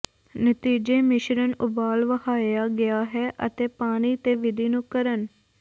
ਨਤੀਜੇ ਮਿਸ਼ਰਣ ਉਬਾਲ ਵਹਾਇਆ ਗਿਆ ਹੈ ਅਤੇ ਪਾਣੀ ਤੇ ਵਿਧੀ ਨੂੰ ਕਰਨ